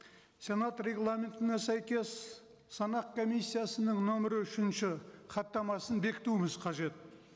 сенат регламентіне сәйкес санақ комиссиясының нөмірі үшінші хаттамасын бекітуіміз қажет